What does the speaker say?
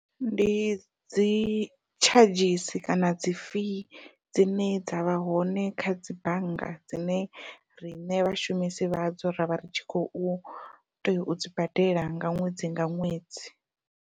Ndi dzi tshadzhisi kana dzi fee dzine dza vha hone kha dzi bannga dzine riṋe vhashumisi vha dzo ravha ri tshi khou tea u dzi badela nga ṅwedzi nga ṅwedzi.